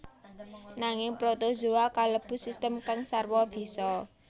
Nanging protozoa kalebu sistem kang sarwa bisa